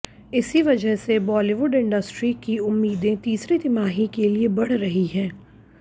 इसी वजह से बॉलीवुड इंडस्ट्री की उम्मीदें तीसरी तिमाही के लिए बढ़ रही हैं